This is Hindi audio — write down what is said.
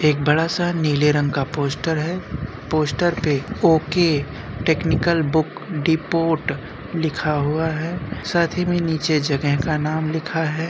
एक बड़ा सा नीले रंग का पोस्टर है पोस्टर पे ओके टेक्नीकल बुक डिपोट लिखा हुआ है साथ ही में नीचे जगह का नाम लिखा है।